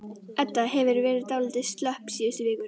Edda hefur verið dálítið slöpp síðustu vikurnar.